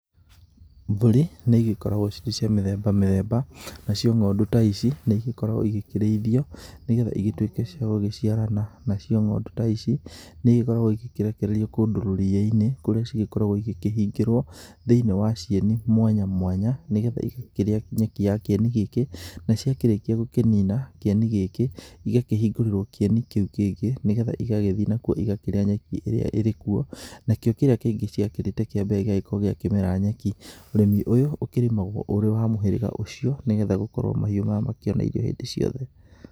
Mbũri, nĩ ĩgĩkoragwo cirĩ cia mĩthemba mĩthemba, na cio ng'ondu ta ici, nĩ igĩkoragwo igĩkĩrĩithio nĩ getha igĩtuĩke cia gũgũciarana, na cio ng'ondu ta ici nĩ igĩkoragwo ikĩrekererio kundũ rũriĩ-inĩ, kũrĩa cigĩkoragwo igĩkĩhingĩrwo thĩiniĩ wa cieni mwanya mwana nĩ getha igakĩrĩa nyeki ya kĩeni gĩkĩ, na ciakĩrĩkia gíũkĩnina, kieni gĩkĩ, igakĩhingũrĩrwo kĩeni kĩu kĩngĩ nĩ getha igagĩthiĩ nakuo igakĩrĩa nyeki ĩrĩa ĩrĩkuo, na kĩo kĩrĩa kĩngĩ ciakĩrĩte kĩa mbere gĩgagĩkorwo kĩamera nyeki. Ũrĩmi ũyũ ũkĩrĩmagwo ũrĩ wa mũhĩrĩga ũcio nĩ getha gũkorwo mahiũ namakĩona irio hĩndĩ ciothe.